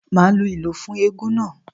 Màá lu ìlù fún eégún náà.